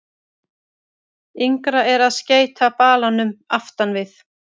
Yngra er að skeyta balanum aftan við.